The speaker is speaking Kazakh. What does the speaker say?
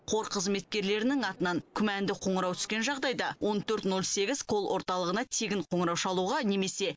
қор қызметкерлерінің атынан күмәнді қоңырау түскен жағдайда он төрт ноль сегіз кол орталығына тегін қоңырау шалуға немесе